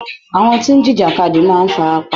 Àwọn tí ń jìjàkadì máa fara pa.